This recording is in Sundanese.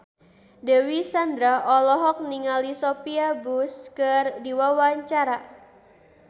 Dewi Sandra olohok ningali Sophia Bush keur diwawancara